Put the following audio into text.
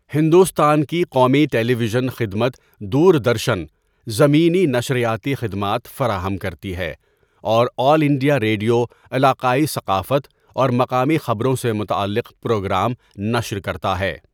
ہندوستان کی قومی television خدمت دوردرشن، زمینی نشریاتی خدمات فراہم کرتی ہے اور آل انڈیا ریڈیو علاقائی ثقافت اور مقامی خبروں سے متعلق پروگرام نشر کرتا ہے۔